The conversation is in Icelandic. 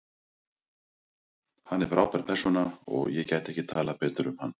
Hann er frábær persóna og ég gæti ekki talað betur um hann.